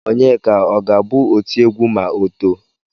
Onyeka ọ ga-abụ otiegwu ma o too?